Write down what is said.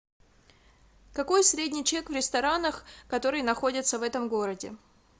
какой средний чек в ресторанах которые находятся в этом городе